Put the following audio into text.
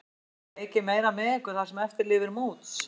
Má búast við að hann leiki meira með ykkur það sem eftir lifir móts?